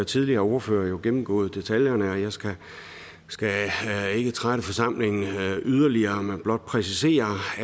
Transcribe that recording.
tidligere ordførere jo gennemgået detaljerne og jeg skal ikke trætte forsamlingen yderligere men blot præcisere